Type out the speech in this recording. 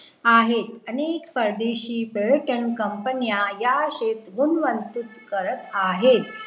आहे अनेक परदेशी पर्यटन COMPANY या शेत्र गुणवंतीत करत आहे